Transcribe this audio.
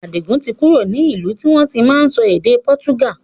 Adigun tí kúrò ní ìlú tí wọn tí máa sọ èdè pọ́túgà